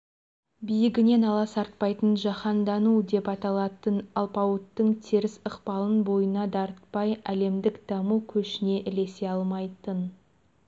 биігінен аласартпай жаһандану деп аталатын алпауыттың теріс ықпалын бойына дарытпай әлемдік даму көшіне ілесе алмайтын